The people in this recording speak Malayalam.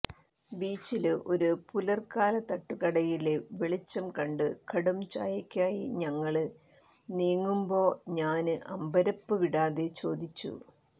ബീച്ചില് ഒരു പുലര്കാലതട്ടുകടയില് വെളിച്ചം കണ്ട് കടും ചായയ്ക്കായി ഞങ്ങള് നീങ്ങുമ്പോ ഞാന് അമ്പരപ്പ് വിടാതെ ചോദിച്ചു